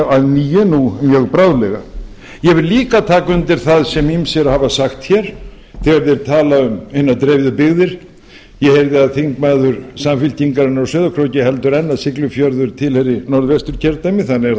að nýju nú mjög bráðlega ég vil líka taka undir það sem ýmsir hafa sagt hér þegar þeir tala um hinar dreifðu byggðir ég heyrði að þingmaður samfylkingarinnar á sauðárkróki heldur enn að siglufjörður tilheyri norðvesturkjördæmi þannig er það nú